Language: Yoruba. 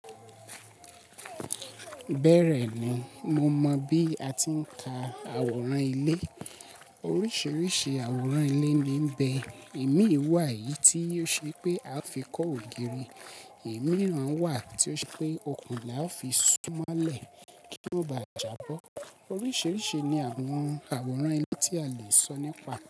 Bẹ́ẹ̀ rẹ̀ ni, mo mọ̀ bí a ti ń ka àwòrán ilé. Oríṣiríṣi àwòrán ilé ni ń bẹ, ẹ̀mí wà yìí tí ó ṣe pé a fi kọ́ ògiri, ẹ̀mí mìíràn wà tí ó ṣe pé òkùnkùn là fi súnmọ́lẹ̀ kí ó ba à jábọ́. Oríṣiríṣi ni àwọn àwòrán ilé tí a le sọ nípa.